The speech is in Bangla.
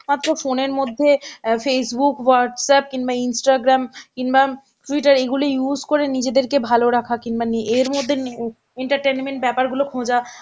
মাত্র phone এর মধ্যে অ্যাঁ Facebook, Whatsapp কিংবা Instagram কিংবা Twitter এইগুলো use করে নিজেদেরকে ভালো রাখা কিংবা নি এর মধ্যে নি entertainment ব্যাপারগুলো খোঁজা